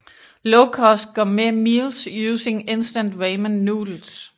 Lowcost Gourmet Meals Using Instant Ramen Noodles